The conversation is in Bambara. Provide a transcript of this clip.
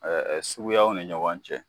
suguyaw ni ɲɔgɔn cɛ